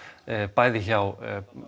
bæði hjá